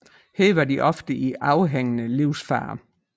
Her var de ofte i overhængende livsfare